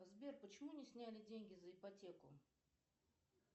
сбер почему не сняли деньги за ипотеку